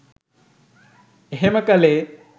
එහෙම කළේ.